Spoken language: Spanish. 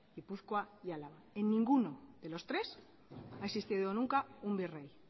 gipuzkoa y álava en ninguno de los tres ha existido nunca un virrey